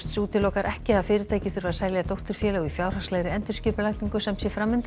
útilokar ekki að fyrirtækið þurfi að selja dótturfélög í fjárhagslegri endurskipulagningu sem sé